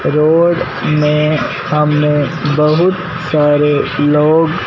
road में हमें बहुत सारे लोग--